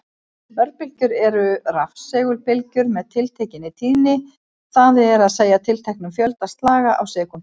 Örbylgjur eru rafsegulbylgjur með tiltekinni tíðni, það er að segja tilteknum fjölda slaga á sekúndu.